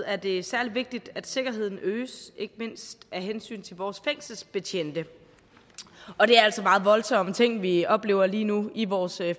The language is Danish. er det særlig vigtigt at sikkerheden øges ikke mindst af hensyn til vores fængselsbetjente og det er altså meget voldsomme ting vi oplever lige nu i vores